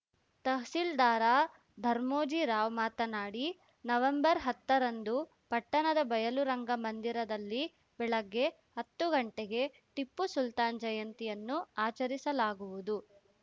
ತಹಸೀಲ್ದಾರ ಧರ್ಮೋಜಿರಾವ್‌ ಮಾತನಾಡಿ ನವೆಂಬರ್‌ ಹತ್ತರಂದು ಪಟ್ಟಣದ ಬಯಲು ರಂಗ ಮಂದಿರದಲ್ಲಿ ಬೆಳಗ್ಗೆ ಹತ್ತು ಗಂಟೆಗೆ ಟಿಪ್ಪು ಸುಲ್ತಾನ್‌ ಜಯಂತಿಯನ್ನು ಆಚರಿಸಲಾಗುವುದು